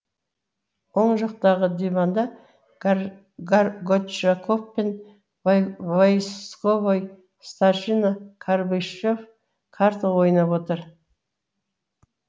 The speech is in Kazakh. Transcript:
оң жақтағы диванда горчаков пен войсковой старшина карбышев карта ойнап отыр